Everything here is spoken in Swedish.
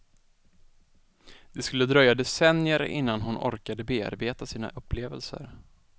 Det skulle dröja decennier innan hon orkade bearbeta sina upplevelser.